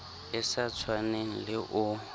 e sa tshwaneng le o